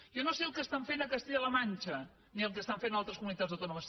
jo no sé el que fan a castella la manxa ni el que fan a altres comunitats autònomes